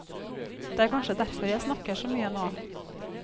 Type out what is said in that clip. Det er kanskje derfor jeg snakker så mye nå.